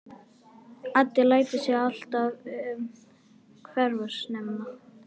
Addi lætur sig alltaf hverfa snemma.